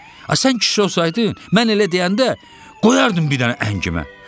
A sən kişi olsaydın, mən elə deyəndə qoyardın bir dənə əngimə.